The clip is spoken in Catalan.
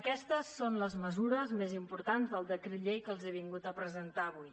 aquestes són les mesures més importants del decret llei que els he vingut a presentar avui